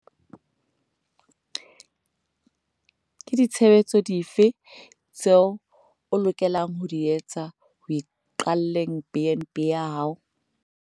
Ke ditshebetso dife tseo o lokelang ho di etsa ho iqalleng BnB ya hao?